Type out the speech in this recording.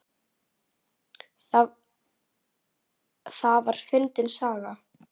Það var fyndin saga.